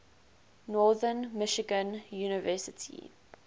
northern michigan university